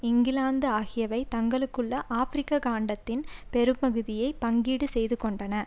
இங்கிலாந்து ஆகியவை தங்களுக்குள் ஆபிரிக்க காண்டத்தின் பெரும்பகுதியை பங்கீடு செய்து கொண்டன